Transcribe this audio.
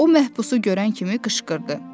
O məhbüsü görən kimi qışqırdı.